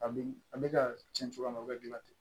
A bɛ a bɛ ka tiɲɛ cogoya min na o bɛ gilan ten